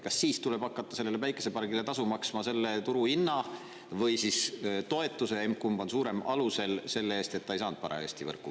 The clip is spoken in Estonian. Kas siis tuleb hakata sellele päikesepargile tasu maksma selle turuhinna või toetuse – emb-kumb on suurem – alusel selle eest, et ta ei saanud parajasti võrku?